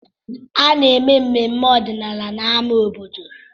Ana-eme mmemme ọdịnala n'amá obodo.